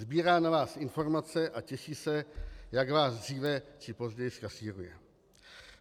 Sbírá na nás informace a těší se, jak vás dříve či později zkasíruje.